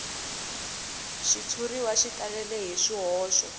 xitshuriwa xi talele hi swihoxo